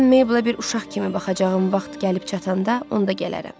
Mən Mabelə bir uşaq kimi baxacağım vaxt gəlib çatanda, onda gələrəm.